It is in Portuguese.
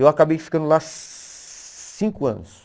Eu acabei ficando lá cinco anos.